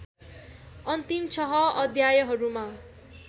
अन्तिम छह अध्यायहरूमा